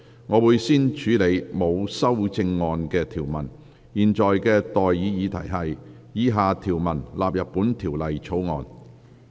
我現在向各位提出的待議議題是：以下條文納入本條例草案。